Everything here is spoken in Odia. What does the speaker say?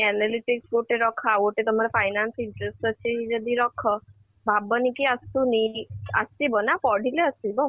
analytics ଗୋଟେ ରଖ ଆଉ ଗୋଟେ ତମର finance interest ଅଛି ଯଦି ରଖ ଭାବନି କି ଆସୁନି କି ଆସିବ ନା ପଢିଲେ ଆସିବ